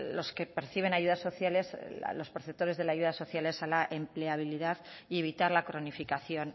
los que perciben ayudas sociales los perceptores de las ayudas sociales a la empleabilidad y evitar la cronificación